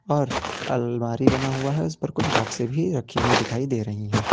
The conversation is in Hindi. और अलमारी बना हुआ है उस पर कुछ बॉक्से भी रखी हुई दिखाई दे रही है।